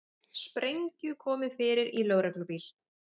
Sprengju komið fyrir í lögreglubíl